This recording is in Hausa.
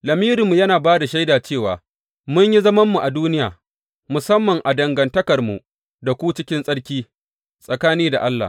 Lamirinmu yana ba da shaida cewa mun yi zamanmu a duniya, musamman a dangantakarmu da ku cikin tsarki, tsakani da Allah.